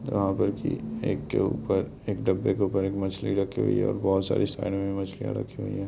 यहाँ पर कि एक के ऊपर एक डब्बे के ऊपर एक मछली रखी हुई है और बहोत सारी साइड में मछलियाँ रखी हुई हैं।